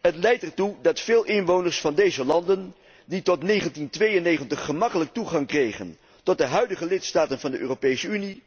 Het leidt ertoe dat veel inwoners van deze landen, die tot 1992 gemakkelijk toegang kregen tot de huidige lidstaten van de Europese Unie,